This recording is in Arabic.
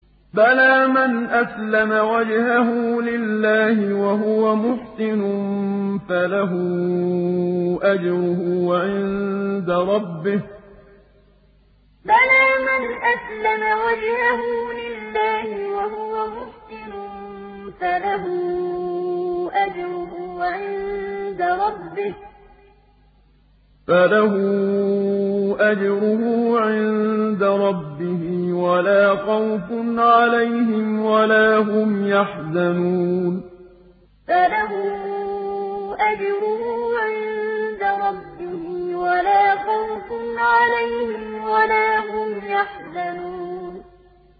بَلَىٰ مَنْ أَسْلَمَ وَجْهَهُ لِلَّهِ وَهُوَ مُحْسِنٌ فَلَهُ أَجْرُهُ عِندَ رَبِّهِ وَلَا خَوْفٌ عَلَيْهِمْ وَلَا هُمْ يَحْزَنُونَ بَلَىٰ مَنْ أَسْلَمَ وَجْهَهُ لِلَّهِ وَهُوَ مُحْسِنٌ فَلَهُ أَجْرُهُ عِندَ رَبِّهِ وَلَا خَوْفٌ عَلَيْهِمْ وَلَا هُمْ يَحْزَنُونَ